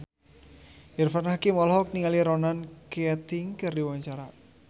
Irfan Hakim olohok ningali Ronan Keating keur diwawancara